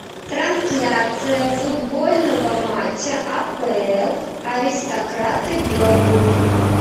трансляция футбольного матча апл аристократы бернли